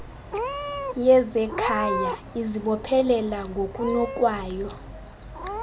yezekhaya izibophelela ngokunokwayo